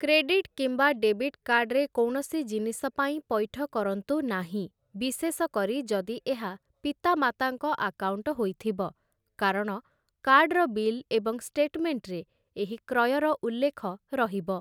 Credit କିମ୍ବା debit କାର୍ଡ଼ରେ କୌଣସି ଜିନିଷ ପାଇଁ ପଇଠ କରନ୍ତୁ ନାହିଁ, ବିଶେଷ କରି ଯଦି ଏହା ପିତାମାତାଙ୍କ ଆକାଉଣ୍ଟ ହୋଇଥିବ, କାରଣ କାର୍ଡ଼ର ବିଲ୍ ଏବଂ ଷ୍ଟେଟମେଣ୍ଟରେ ଏହି କ୍ରୟର ଉଲ୍ଲେଖ ରହିବ ।